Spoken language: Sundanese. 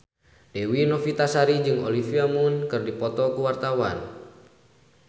Dewi Novitasari jeung Olivia Munn keur dipoto ku wartawan